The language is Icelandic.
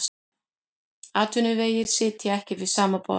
Atvinnuvegir sitja ekki við sama borð